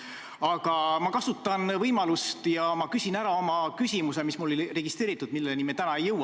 Aga ma kasutan võimalust ja küsin ära oma küsimuse, mis mul oli registreeritud, kuid milleni me täna ei jõua.